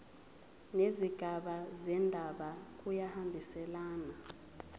nezigaba zendaba kuyahambisana